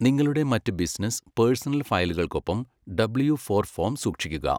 നിങ്ങളുടെ മറ്റ് business, personal ഫയലുകൾക്കൊപ്പം ഡബ്ല്യു ഫോർ ഫോം സൂക്ഷിക്കുക.